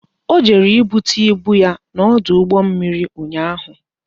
O jere ibute ibu ya n'ọdụ ụgbọ mmiri ụnyaahụ